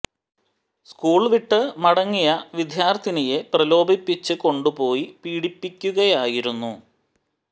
school വിട്ട് മടങ്ങിയ വിദ്യാർഥിനിയെ പ്രലോഭിപ്പിച്ച് കൊണ്ട് പോയി പീഡിപ്പിക്കുകയായിരുന്നു